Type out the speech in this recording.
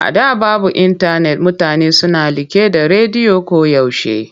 A da babu intanet mutane suna liƙe da rediyo koyaushe.